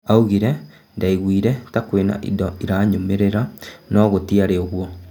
Augire " Ndaiguire ta kwĩna indo iranyumĩrĩra no gūtiarĩ ūguo.